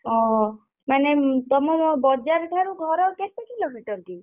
ଓହୋ ମାନେ ତମ ବଜାର୍ ଠାରୁ ଘର କେତେ କିଲୋମିଟର୍ କି?